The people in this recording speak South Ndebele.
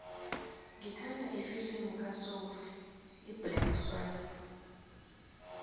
ngithanda ifilimu kasophie iblack swann